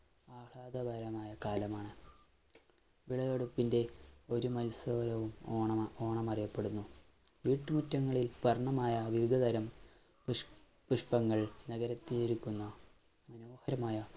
ആഹ്ളാദകരമായ കാലമാണ് വിളവെടുപ്പിന്റെ ഒരു ഓണം~ഓണം അറിയപ്പെടുന്നു. വീട്ടുമുറ്റങ്ങളിൽ വർണ്ണമായ വിവിധ തരം പുഷ്~പുഷ്പങ്ങൾ നിരത്തി ഒരുക്കുന്ന മനോഹരമായ